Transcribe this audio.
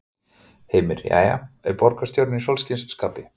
Heimir: Jæja, er borgarstjórinn í sólskinsskapi?